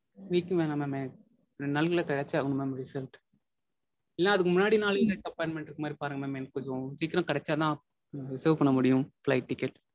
Week லாம் வேணாம் mam ரெண்டு நாளுக்குள்ள கெடைச்சே ஆகனும் mam result. இல்லனா அதுக்கு முன்னாடி நாளே appointment இருக்க மாதிரி பாருங்க mam எனக்கு கொஞ்சம் சீக்கிரம் கெடைச்சாதா reserve பண்ண முடியும் flight ticket.